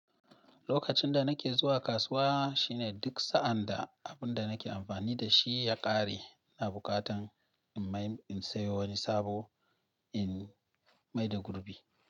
Lokacin da nake zuwa kasuwa shine duk sa'an da abin da nake amfani da shi ya ƙare, ina bukatan in mai in sayo wani sabo in maida gurbi.